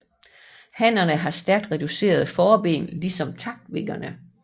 Hannerne har stærkt reducerede forben ligesom takvingerne